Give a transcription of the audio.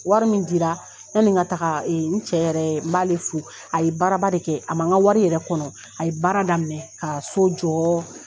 Wari min di la yanni n ka taga n cɛ yɛrɛ n b'a le fo a ye baara ba de kɛ a man n ka wari yɛrɛ kɔnɔ a ye baara daminɛ ka so jɔ